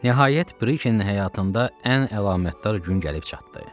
Nəhayət Brike'nin həyatında ən əlamətdar gün gəlib çatdı.